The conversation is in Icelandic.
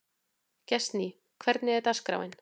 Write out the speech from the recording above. Gestný, hvernig er dagskráin?